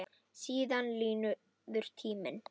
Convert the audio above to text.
Síðan líður tíminn.